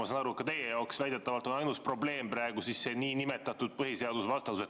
Ma saan aru, et ka teie jaoks väidetavalt on ainus probleem praegu see nn põhiseadusvastasus.